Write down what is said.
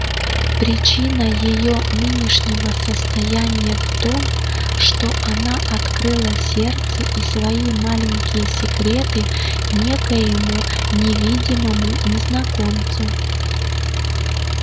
причина её нынешнего состояния в том что она открыла сердце и свои маленькие секреты некоему невидимому незнакомцу